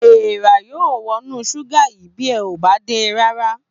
Èèrà yóò wọnú ṣúgà yìí bí ẹ ò bá de dáadáa